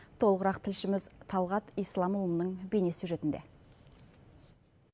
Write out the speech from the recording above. толығырақ тілшіміз талғат исламұлының бейнесюжетінде